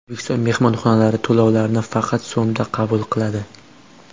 O‘zbekiston mehmonxonalari to‘lovlarni faqat so‘mda qabul qiladi .